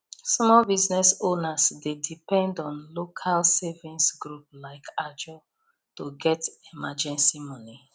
small business owners dey depend on local savings group like ajo to get emergency money